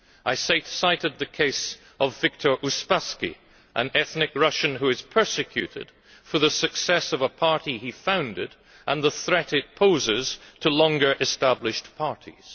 I cited the case of Viktor Uspaskich, an ethnic Russian who is persecuted for the success of a Party he founded and the threat it poses to longer established parties.